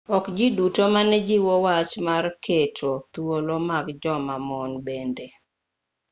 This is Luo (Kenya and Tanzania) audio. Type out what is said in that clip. ok ji duto mane jiwo wach mar keto thuolo mag joma mon bende